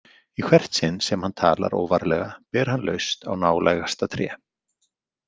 Í hvert sinn sem hann talar óvarlega ber hann laust á nálægasta tré.